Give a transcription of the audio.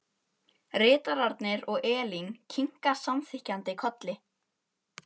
Ritararnir og Elín kinka samþykkjandi kolli.